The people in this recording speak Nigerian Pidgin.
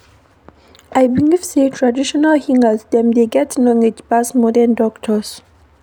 I believe sey traditional healers dem dey get knowledge pass modern doctors.